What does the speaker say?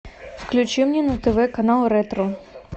включи мне на тв канал ретро